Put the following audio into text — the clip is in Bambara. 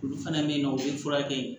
Olu fana bɛ yen nɔ u bɛ furakɛ yen